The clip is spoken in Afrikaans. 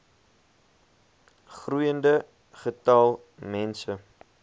groeiende getal mense